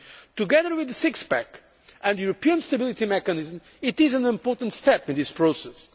union. Together with the six pack and the European Stability Mechanism, it is an important step in this process.